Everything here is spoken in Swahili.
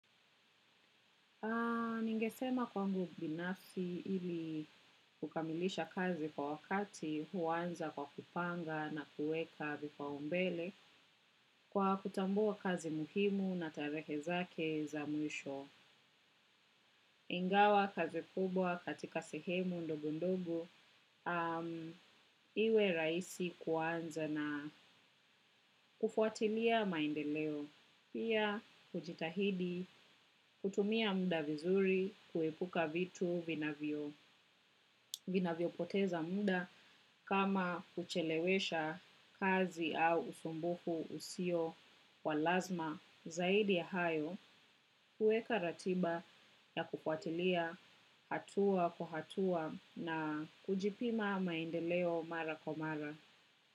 Ningesema kwangu binafsi ili kukamilisha kazi kwa wakati huanza kwa kupanga na kuweka vipaombele kwa kutambua kazi muhimu na tarehe zake za mwisho. Ingawa kazi kubwa katika sehemu ndogondogo iwe rahisi kuanza na kufuatilia maendeleo. Pia kujitahidi kutumia muda vizuri kuepuka vitu vinavyo. Vinavyopoteza muda kama kuchelewesha kazi au usumbufu usio wa lazima zaidi ya hayo kuweka ratiba na kufuatilia hatua kwa hatua na kujipima maendeleo mara kwa mara.